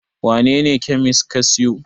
wanene kyamis ka siyo?